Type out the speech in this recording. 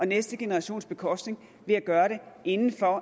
næste generationers bekostning ved at gøre det inden for